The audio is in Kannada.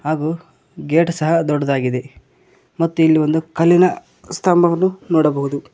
ಹಾಗೂ ಗೇಟ್ ಸಹ ದೊಡ್ಡದಾಗಿದೆ ಮತ್ತು ಇಲ್ ಒಂದು ಕಲ್ಲಿನ ಸ್ತಂಭವನ್ನು ನೋಡಬಹುದು.